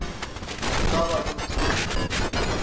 ukaba luthi qi